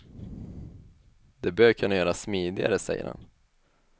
Det bör kunna göras smidigare, säger han.